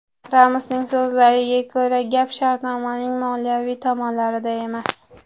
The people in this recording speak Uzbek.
Ramosning so‘zlariga ko‘ra, gap shartnomaning moliyaviy tomonlarida emas.